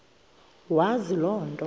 wazi loo nto